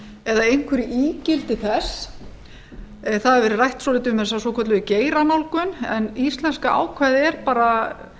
eða einhver ígildi þess það hefur verið rætt svolítið um þessa svokölluðu geiranálgun en íslenska ákvæðið ber bara